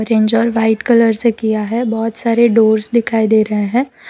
White colour से किया है बहोत सारे डोर्स दिखाई दे रहे हैं।